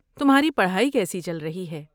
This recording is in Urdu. تمہاری پڑھائی کیسی چل رہی ہے؟